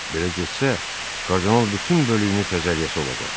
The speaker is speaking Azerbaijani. Belə getsə, kardinal bütün bölüyünü təzəliyəyəsi olacaq.